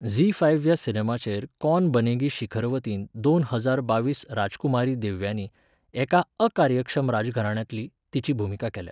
Zee five ह्या सिनेमाचेर कौन बनेगी शिखरवतीन दोन हजार बावीस राजकुमारी देव्यानी, एका अकार्यक्षम राजघराण्यांतली, तिची भुमिका केल्या.